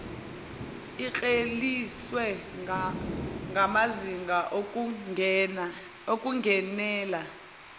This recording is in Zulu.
ikleliswe ngamazinga okungenela